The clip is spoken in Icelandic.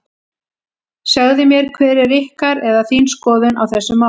Segðu mér hver er ykkar, eða þín skoðun á þessu máli?